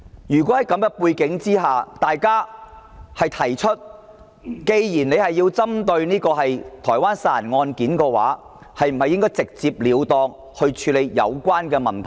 在這種背景下，大家會問：既然政府要針對台灣殺人案件，是否應該直截了當去處理有關問題？